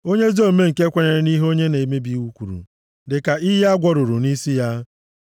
Onye ezi omume nke kwenyere nʼihe onye na-emebi iwu kwuru dị ka iyi a gwọrụrụ nʼisi ya.